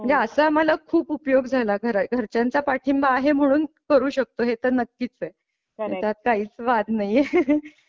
म्हणजे असं आम्हाला खूप उपयोग झाला घर घरच्यांचा पाठिंबा आहे म्हणून करू शकतो हे तर नक्कीच आहे त्यात काहीच वाद नाहीए